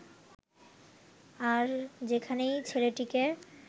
আর যেখানেই ছেলেটিকে